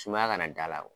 Sumaya kana da a la